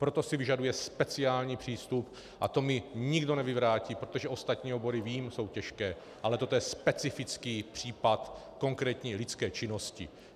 Proto si vyžaduje speciální přístup a to mi nikdo nevyvrátí, protože ostatní obory, vím, jsou těžké, ale toto je specifický případ konkrétní lidské činnosti.